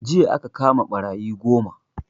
Jiya aka kama ɓarayi goma